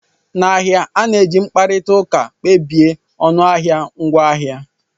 N'ahịa, a na-eji mkparịta ụka kpebie ọnụahịa ngwaahịa